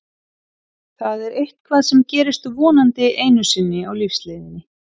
Það er eitthvað sem gerist vonandi einu sinni á lífsleiðinni.